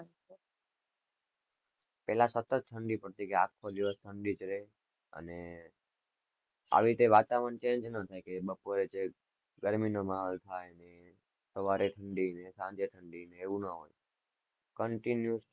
પેલા સતત ઠંડી પડતી, કે આખો દિવસ ઠંડી જ રેય, અને આવી રીતે વાતાવરણ change ના થાય કે બપોરે છેક, ગરમીનો માહોલ થાય ને સવારે ઠંડી ને સાંજે ઠંડી ને એવું ના હોય, continuous